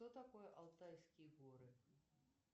что такое алтайские горы